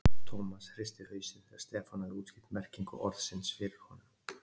Thomas hristi hausinn þegar Stefán hafði útskýrt merkingu orðsins fyrir honum.